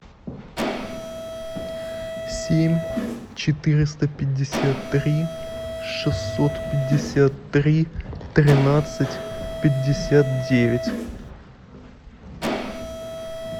семь четыреста пятьдесят три шестьсот пятьдесят три тринадцать пятьдесят девять